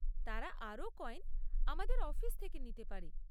তারা আরও কয়েন আমাদের অফিস থেকে নিতে পারে।